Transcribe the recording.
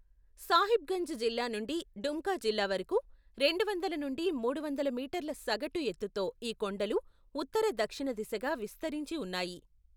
సాహిబ్గంజ్ జిల్లా నుండి డుమ్కా జిల్లా వరకు, రెండువందల నుండి మూడు వందల మీటర్ల సగటు ఎత్తుతో ఈ కొండలు ఉత్తర దక్షిణ దిశగా విస్తరించి ఉన్నాయి.